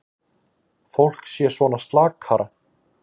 Fólk sé svona slakara.